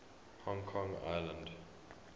hong kong island